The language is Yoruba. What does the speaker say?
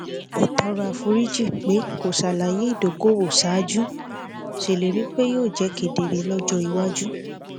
ó tọrọ àforíjì pé kò ṣàlàyé ìdókòwò ṣáájú ṣèlérí pé yóò jẹ kedere lọjọ iwájú